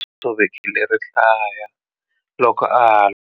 U tshovekile rihlaya loko a lwa.